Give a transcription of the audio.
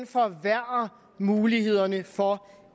forværrer mulighederne for